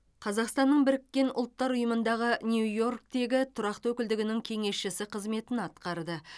қазақстанның біріккен ұлттар ұйымындағы нью йорктегі тұрақты өкілдігінің кеңесшісі қызметін атқарды